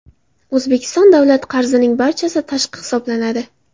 O‘zbekiston davlat qarzining barchasi tashqi hisoblanadi.